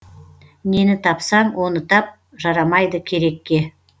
нені тапсаң оны тап жарамайды керекке